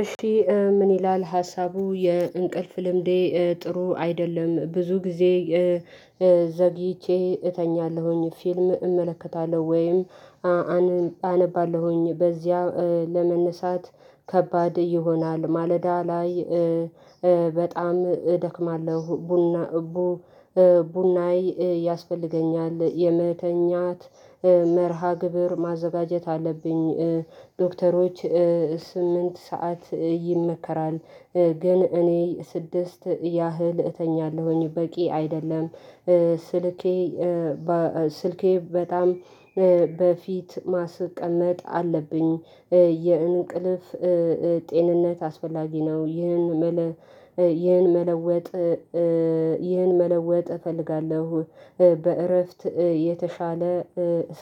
እሺ ምን ይላል ሀሳቡ የእንቅልፍ ልምዴ ጥሩ አይደለም ብዙ ጊዜ ዘግይቼ እተኛለሁኝ ፊልም እመለከታለሁ ወይም አነባለሁኝ በዚያ ለመነሳት ከባድ ይሆናል። ማለዳ ላይ በጣም እደክማለሁ። ቡና ቡ ቡና ያስፈልገኛል። የመተኛት መርሃ ግብር ማዘጋጀት አለብኝ። ዶክተሮች ስምንት ሰዓት ይመከራል ግን እኔ ስድስት ያህል እተኛለሁኝ በቂ አይደለም። ስልኬ ስልኬ በጣም በፊት ማስቀመጥ አለብኝ። የእንቅልፍ ጤንነት አስፈላጊ ነው። ይህን መለወጥ ይህን መለወጥ እፈልጋለሁ። በእረፍት የተሻለ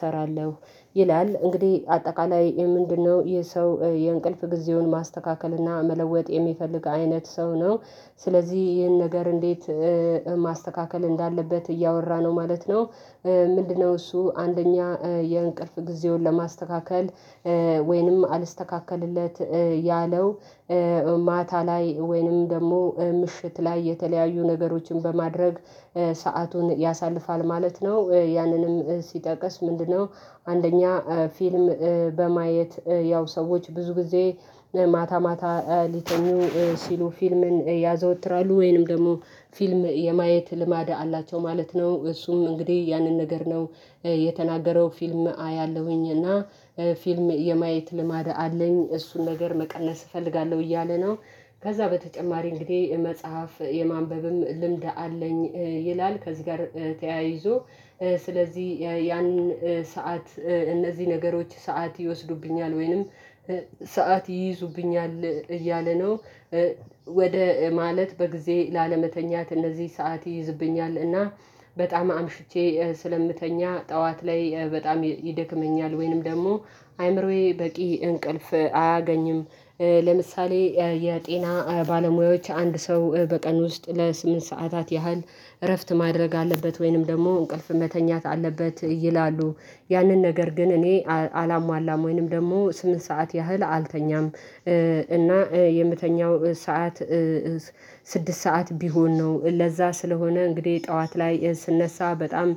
ሰራለሁ። ይላል እንግዲህ አጠቃላይ ምንድነው? ይህ ሰው የእንቅልፍ ጊዜውን ማስተካከልና እና መለወጥ የሚፈልግ አይነት ሰው ነው። ስለዚህ ይህን ነገር እንዴት ማስተካከል እንዳለበት እያወራ ነው ማለት ነው። ምንድነው እሱ አንደኛ የእንቅልፍ ጊዜውን ለማስተካከል ወይንም አልስተካከልለት ያለው ማታ ላይ ወይንም ደግሞ ምሽት ላይ የተለያዩ ነገሮችን በማድረግ ሰአቱን ያሳልፋል ማለት ነው። ያንንም ሲጠቅስ ምንድነው? አንደኛ ፊልም በማየት ያው ሰዎች ብዙ ጊዜ ማታ ማታ ሊተኙ ሲሉ ፊልምን ያዘወትራሉ ወይንም ደግሞ ፊልም የማየት ልማድ አላቸው ማለት ነው። እሱም እንግዲህ ያንን ነገር ነው የተናገረው ፊልም አያለሁኝ። እና ፊልም የማየት ልማድ አለኝ እሱን ነገር መቀነስ እፈልጋለሁ እያለ ነው። ከዛ በተጨማሪ እንግዲህ መጽሐፍ የማንበብም ልምድ አለኝ ይላል ከዚህ ጋር ተያይዞ ስለዚህ ያንን ሰዓት እነዚህ ነገሮች ሰዓት ይወስዱብኛል ወይንም ሰዓት ይይዙብኛል እያለ ነው። ወደ ማለት በጊዜ ላለመተኛት እነዚህ ሰዓት ይይዝብኛል እና በጣም አምሽቼ ስለምተኛ ጠዋት ላይ በጣም ይደክመኛል ወይንም ደግሞ አይምሮዬ በቂ እንቅልፍ አያገኝም። ለምሳሌ የጤና ባለሙያዎች አንድ ሰው በቀን ውስጥ ለስምንት ሰዓታት ያህል እረፍት ማድረግ አለበት ወይንም ደግሞ እንቅልፍ መተኛት አለበት ይላሉ። ያንን ነገር ግን እኔ አላሟላም ወይንም ደግሞ ስምንት ሰዓት ያህል አልተኛም። እና የምተኛው ሰዓት ስድስት ሰዓት ቢሆን ነው። ለዛ ስለሆነ እንግዲህ ጠዋት ላይ ስነሳ በጣም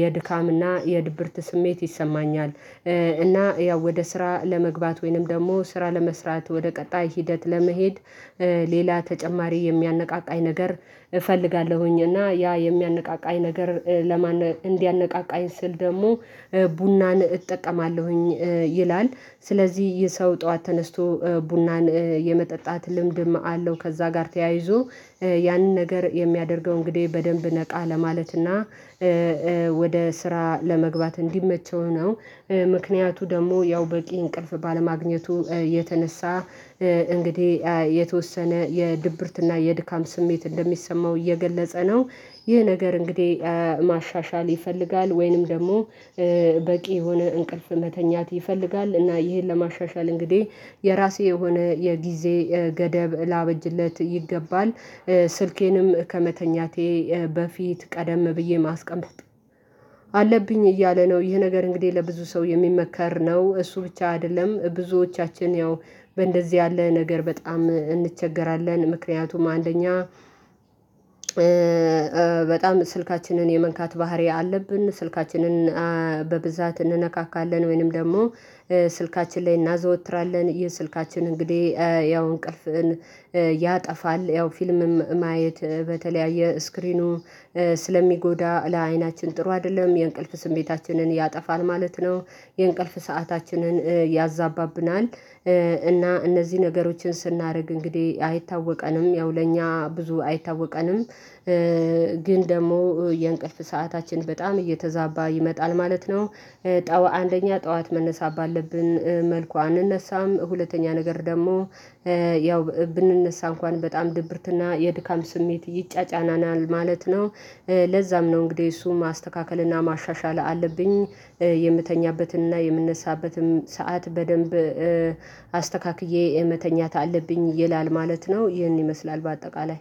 የድካምና የድብርት ስሜት ይሰማኛል። እና ያው ወደ ስራ ለመግባት ወይንም ደግሞ ስራ ለመስራት ወደ ቀጣይ ሂደት ለመሄድ ሌላ ተጨማሪ የሚያነቃቃኝ ነገር ፈልጋለሁኝ እና ያ የሚያነቃቃኝ ነገር ለማን እንዲያነቃቃኝ ስል ደግሞ ቡናን እጠቀማለሁኝ ይላል ስለዚህ ይህ ሰው ጠዋት ተነስቶ ቡናን የመጠጣት ልምድም አለው ከዛ ጋር ተያይዞ ያንን ነገር የሚያደርገው እንግዲህ በደንብ ነቃ ለማለትና ወደ ስራ ለመግባት እንዲመቸው ነው። ምክንያቱ ደግሞ ያው በቂ እንቅልፍ ባለማግኘቱ የተነሳ እንግዲህ የተወሰነ የድብርትና የድካም ስሜት እንደሚሰማው እየገለጸ ነው። ይህ ነገር እንግዲህ ማሻሻል ይፈልጋል ወይንም ደግሞ በቂ የሆነ እንቅልፍ መተኛት ይፈልጋል እና ይሄን ለማሻሻል እንግዲህ የራሴ የሆነ የጊዜ ገደብ ላበጅለት ይገባል። ስልኬንም ከመተኛቴ በፊት ቀደም ብዬ ማስቀመጥ አለብኝ እያለ ነው። ይህ ነገር እንግዲህ ለብዙ ሰው የሚመከር ነው። እሱ ብቻ አይደለም ብዙዎቻችን ያው በእንደዚህ ያለ ነገር በጣም እንቸገራለን። ምክንያቱም አንደኛ በጣም ስልካችንን የመንካት ባህሪ አለብን ስልካችንን በብዛት እንነካካለን ወይንም ደግሞ ስልካችን ላይ እናዘወትራለን። ይህ ስልካችን እንግዲህ ያው እንቅልፍን ያጠፋል። ያው ፊልምም ማየት በተለያየ ስክሪኑ ስለሚጎዳ ለአይናችን ጥሩ አይደለም። የእንቅልፍ ስሜታችንን ያጠፋል ማለት ነው። የእንቅልፍ ሰአታችንን ያዛባብናል። እና እነዚህ ነገሮችን ስናደርግ እንግዲህ አይታወቀንም ያው ለእኛ ብዙ አይታወቀንም። ግን ደግሞ የእንቅልፍ ሰዓታችን በጣም እየተዛባ ይመጣል ማለት ነው። ጠዋ አንደኛ ጠዋት መነሳት ባለብን መልኩ አንነሳም ሁለተኛ ነገር ደግሞ ያው ብንነሳ እንኳን በጣም ድብርትና የድካም ስሜት ይጫጫናናል ማለት ነው። ለዛም ነው እንግዲህ እሱን ማስተካከል እና ማሻሻል አለብኝ የምተኛበትን እና የምነሳበትን ሰዓት በደንብ አስተካክዬ መተኛት አለብኝ ይላል ማለት ነው ይህን ይመስላል በአጠቃላይ